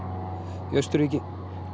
í Austurríki